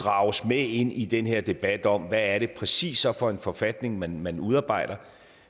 drages med ind i den her debat om hvad det præcis er for en forfatning man man udarbejder og